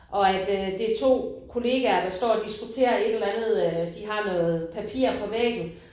Og at øh det er to kollegaer der står og diskuterer et eller andet øh. De har noget papir på væggen